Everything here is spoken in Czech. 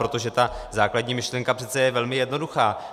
Protože ta základní myšlenka přece je velmi jednoduchá.